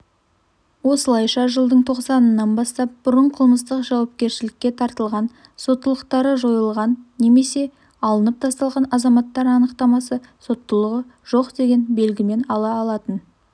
осылайша жылдың тоқсанынан бастап бұрын қылмыстық жауапкершілікке тартылған соттылықтары жойылған немесе алынып тасталған азаматтар анықтаманы соттылығы жоқ деген белгімен ала алатын